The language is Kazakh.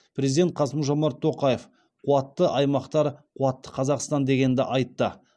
президент қасым жомарт тоқаев қуатты аймақтар қуатты қазақстан дегенді айтты